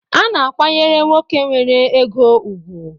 A na-akwayere nwoke nwere ego ụgwụ